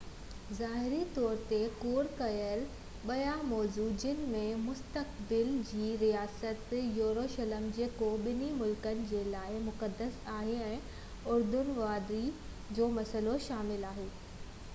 ظاهري طور تي ڪور ڪيل ٻيا موضوع جنهن ۾ مستقبل جي رياست يروشلم جيڪو ٻني ملڪن جي لاءِ مقدس آهي ۽ اردن وادي جو مسئلو شامل آهي